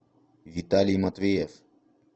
виталий матвеев